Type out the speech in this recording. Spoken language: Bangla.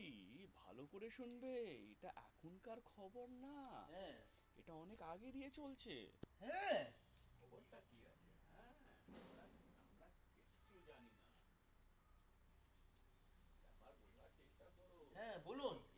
হ্যাঁ বলুন